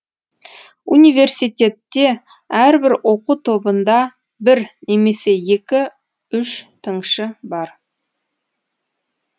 университетте әрбір оқу тобында бір немесе екі үш тыңшы бар